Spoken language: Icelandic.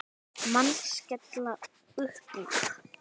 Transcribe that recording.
Menn skella uppúr.